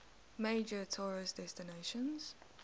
major tourist destination